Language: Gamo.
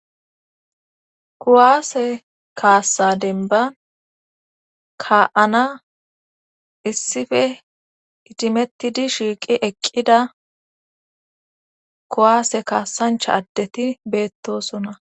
Kuwaase kaassa denba ka7ana issife itimettidi shiiqi eqqida kuwaase kaassancha addeti beettosona.